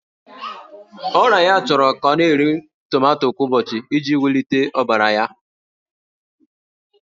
Ọrịa ya chọrọ ka ọ na-eri tomato kwa ụbọchị iji wulite ọbara ya.